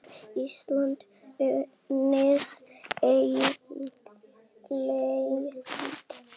Getur Ísland unnið England?